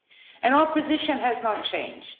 And our position has not changed.